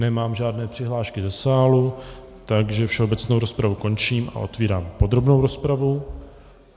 Nemám žádné přihlášky ze sálu, takže všeobecnou rozpravu končím a otevírám podrobnou rozpravu.